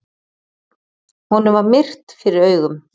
Honum var myrkt fyrir augum.